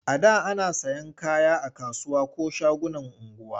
A da ana sayan kaya a kasuwa ko shagunan unguwa.